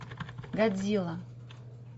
годзилла